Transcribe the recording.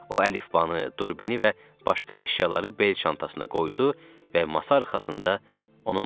O əlifbanı, durbini və başqa əşyaları bel çantasına qoydu və masa arxasında onunla gəzirdi.